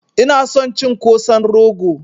Ina son cin Kosan rogo